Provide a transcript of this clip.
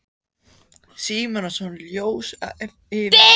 Símonarson jós yfir mig mannskemmandi ósvífni.